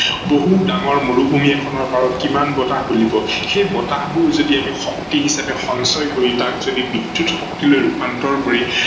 বহু ডাঙৰ মৰুভূমি এখনৰ পাৰত কিমান বতাহ বলিব, সেই বতাহবোৰ যদি আমি শক্তি হিচাপে সঞ্চয় কৰি তাক যদি বিদ্যুৎ শক্তিলৈ ৰূপান্তৰ কৰি